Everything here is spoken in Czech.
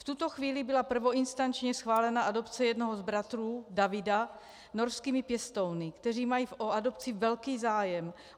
V tuto chvíli byla prvoinstančně schválena adopce jednoho z bratrů, Davida, norskými pěstouny, kteří mají o adopci velký zájem.